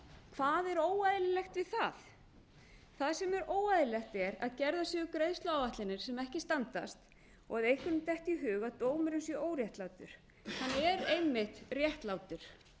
hvað er óeðlilegt við það það sem óeðlilegt er að gerðar séu greiðsluáætlanir sem ekki standast og að einhverjum detti í hug að dómurinn sé óréttlátur hann er einmitt réttlátur